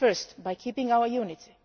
Firstly, by keeping our unity.